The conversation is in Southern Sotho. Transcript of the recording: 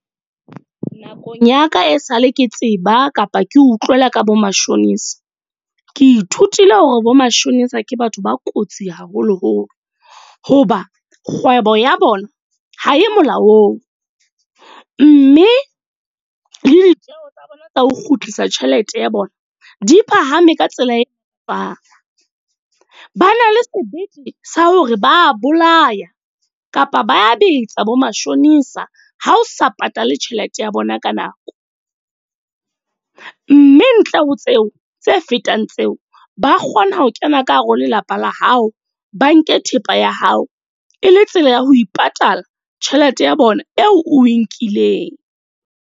Nakong ya ka e sale ke tseba kapa ke utlwela ka bo mashonisa. Ke ithutile hore bo mashonisa ke batho ba kotsi haholo-holo. Hoba kgwebo ya bona ha e molaong. Mme le ditjeho tsa bona tsa ho kgutlisa tjhelete ya bona, di phahame ka tsela e . Ba na le sebete sa hore ba bolaya kapa ba betsa bo mashonisa ha o sa patale tjhelete ya bona ka nako. Mme ntle ho tseo, tse fetang tseo. Ba kgona ho kena ka hare ho lelapa la hao. Ba nke thepa ya hao e le tsela ya ho ipatala tjhelete ya bona eo o e nkileng.